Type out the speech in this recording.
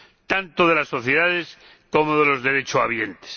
tanto de las sociedades como de los derechohabientes.